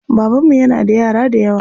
Babanmu yana da yara dayawa.